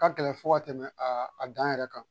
Ka gɛlɛn fo ka tɛmɛ a dan yɛrɛ kan.